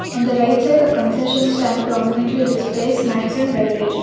On the right side of concession stand prominently displays snacks and beverages.